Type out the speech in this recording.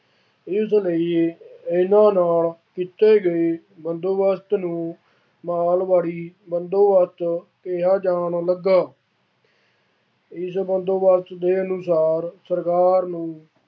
ਇਸ ਲਈ ਇਹਨਾ ਨਾਲ ਕੀਤੇ ਗਏ ਬੰਦੋਬਸਤ ਨੂੰ ਮਾਲਵਾੜੀ ਬੰਦੋਬਸਤ ਕਿਹਾ ਜਾਂਣ ਲੱਗਾ। ਇਸ ਬੰਦੋਬਸਤ ਦੇ ਅਨੁਸਾਰ ਸਰਕਾਰ ਨੂੰ